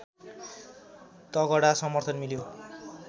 तगडा समर्थन मिल्यो